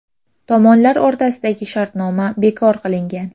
Tomonlar o‘rtasidagi shartnoma bekor qilingan.